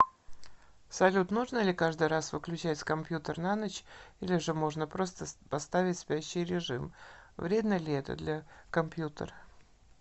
салют нужно ли каждый раз выключать компьютер на ночь или же можно просто поставить спящий режим вредно ли это для компьютера